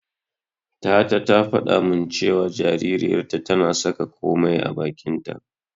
Tata ta faɗa min cewa jaririyarta tana saka komai a bakinta.